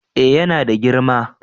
eh yana da girma